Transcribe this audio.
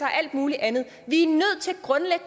og alt mulig andet vi